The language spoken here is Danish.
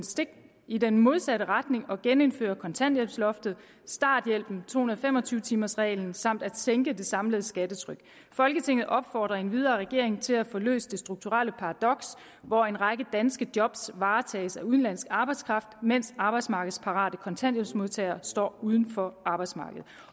i den modsatte retning og genindføre kontanthjælpsloftet starthjælpen to hundrede og fem og tyve timers reglen samt at sænke det samlede skattetryk folketinget opfordrer endvidere regeringen til at få løst det strukturelle paradoks hvor en række danske job varetages af udenlandsk arbejdskraft mens arbejdsmarkedsparate kontanthjælpsmodtagere står udenfor arbejdsmarkedet